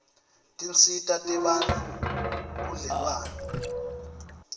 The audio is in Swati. tinsita tebantfu budlelwane